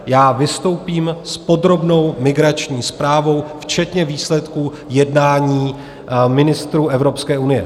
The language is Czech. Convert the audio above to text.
Já vystoupím s podrobnou migrační zprávou včetně výsledků jednání ministrů Evropské unie.